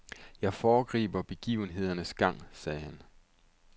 Jeg foregriber begivenhedernes gang, sagde han.